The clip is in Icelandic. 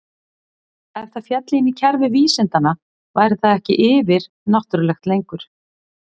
Ef það félli inn í kerfi vísindanna væri það ekki yfir-náttúrulegt lengur.